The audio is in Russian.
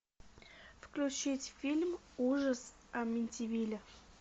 включить фильм ужас амитивилля